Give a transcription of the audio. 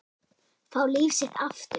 Fá líf sitt aftur.